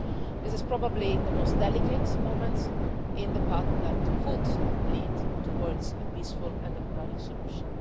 This is probably the most delicate moment in the path that could lead towards a peaceful and democratic solution.